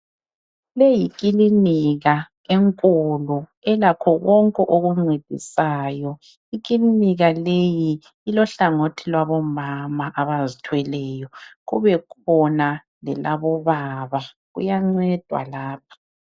Leyi yikilinika enkulu elakho konke okuncedisayo. Ikilinika leyi ilohlangothi lwabomama abazithweleyo kube khona lelabobaba. Kuyancedwa lapha